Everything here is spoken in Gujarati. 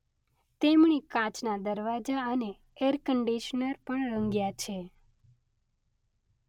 તેમણે કાચના દરવાજા અને એર કંડીશનર પણ રંગ્યા છે.